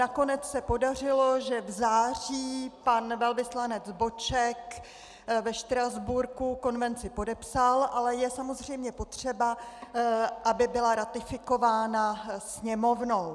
Nakonec se podařilo, že v září pan velvyslanec Boček ve Štrasburku konvenci podepsal, ale je samozřejmě potřeba, aby byla ratifikována Sněmovnou.